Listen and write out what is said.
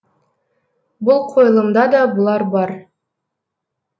бұл қойылымда да бұлар бар